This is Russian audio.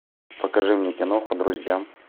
покажи мне киноху друзья